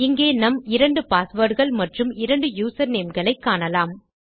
இங்கே நம் 2 பாஸ்வேர்ட்ஸ் மற்றும் 2 யூசர்நேம்ஸ் ஐ காணலாம்